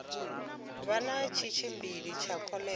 vha na tshitshili tsha kholera